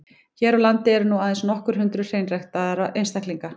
Hér á landi eru nú aðeins nokkur hundruð hreinræktaðra einstaklinga.